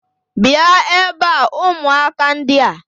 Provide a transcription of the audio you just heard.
bia ebe a, umuaka ndia!